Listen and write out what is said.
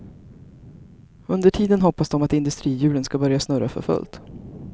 Under tiden hoppas de att industrihjulen skall börja snurra för fullt.